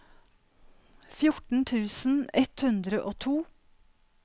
fjorten tusen ett hundre og to